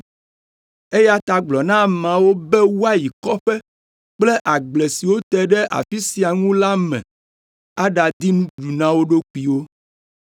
eya ta gblɔ na ameawo be woayi kɔƒe kple agble siwo te ɖe afi sia ŋu la me aɖadi nuɖuɖu na wo ɖokuiwo.”